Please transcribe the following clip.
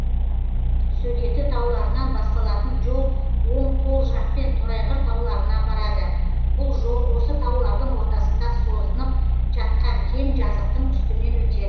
сөгеті тауларынан басталатын жол оң қол жақпен торайғыр тауларына апарады бұл жол осы таулардың ортасында созынып жатқан кең жазықтың үстімен өтеді